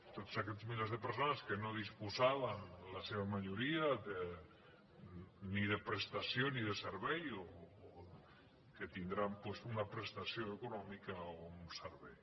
tots aquests milers de persones que no disposaven la seva majoria ni de prestació ni de servei tindran una prestació econòmica o un servei